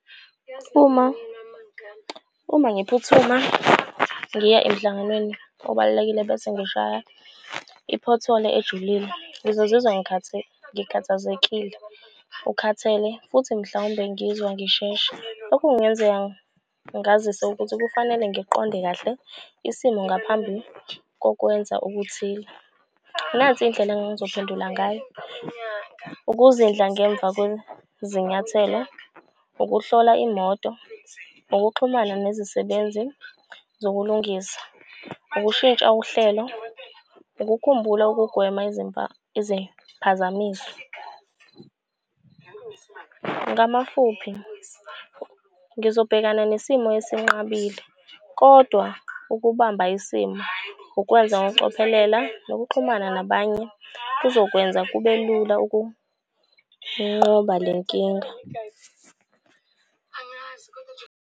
Uma, uma ngiphuthuma ngiya emhlanganweni obalulekile bese ngishaya i-pothole ejulile ngizozizwa ngikhathazekile ukhathele futhi mhlawumbe ngizwa ngisheshe. Okungenzeka ngazise ukuthi kufanele ngiqonde kahle isimo ngaphambi kokwenza okuthile. Nansi indlela engangizophendula ngayo, ukuzindla ngemva kwezinyathelo. Ukuhlola imoto, ukuxhumana nezisebenzi zokulungisa, ukushintsha uhlelo, ukukhumbula ukugwema iziphazamiso. Ngamafuphi, ngizobhekana nesimo esinqabile, kodwa ukubamba isimo ukwenza ngokucophelela nokuxhumana nabanye kuzokwenza kube lula ukunqoba le nkinga.